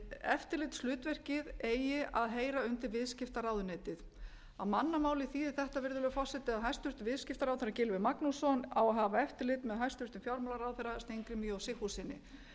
eftirlitshlutverkið eigi að heyra undir viðskiptaráðuneytið á mannamáli þýðir þetta virðulegur forseti að hæstvirtur viðskiptaráðherra gylfi magnússon á að hafa eftirlit með hæstvirtum fjármálaráðherra steingrími j sigfússyni